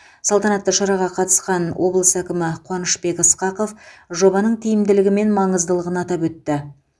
салтанатты шараға қатысқан облыс әкімі қуанышбек ысқақов жобаның тиімділігі мен маңыздылығын атап өтті